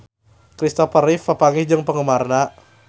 Kristopher Reeve papanggih jeung penggemarna